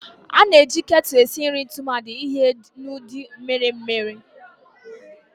A na-eji kettles esi nri tumadi ihe n'ụdị mmiri mmiri